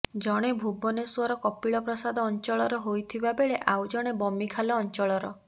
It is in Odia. ଜଣେ ଭୁବନେଶ୍ୱର କପିଳ ପ୍ରସାଦ ଅଞ୍ଚଳର ହୋଇଥିବା ବେଳେ ଆଉ ଜଣେ ବମିଖାଲ ଅଞ୍ଚଳର